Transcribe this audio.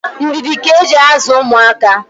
ndidi ka e ji azụ ụmụaka.